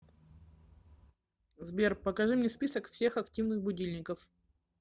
сбер покажи мне список всех активных будильников